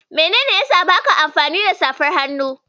Menene yasa baka amfani da safar hannu?